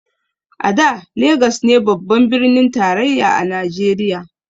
A da Legas ne babban birnin tarayya na najeriya